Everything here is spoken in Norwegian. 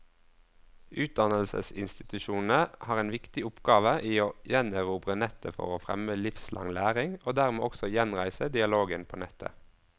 Utdannelsesinstitusjonene har en viktig oppgave i å gjenerobre nettet for å fremme livslang læring, og dermed også gjenreise dialogen på nettet.